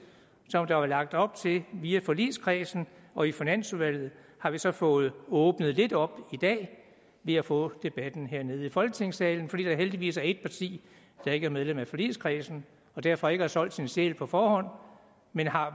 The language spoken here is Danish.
som der var lagt op via forligskredsen og i finansudvalget har vi så fået åbnet lidt op i dag vi har fået debatten her i folketingssalen fordi der heldigvis er et parti der ikke er medlem af forligskredsen og derfor ikke har solgt sin sjæl på forhånd men har